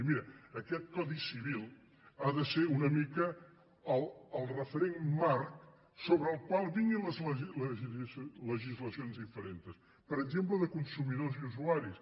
i mira aquest codi civil ha de ser una mica el referent marc sobre el qual vinguin les legislacions diferents per exemple de consumidors i usuaris